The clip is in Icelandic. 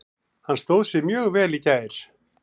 Hann stóð sig mjög vel í gær.